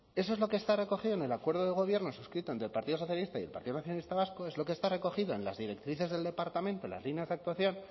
eso es lo que está recogido en el acuerdo de gobierno suscrito entre el partido socialista y el partido nacionalista vasco es lo que está recogido en las directrices del departamento en las líneas de actuación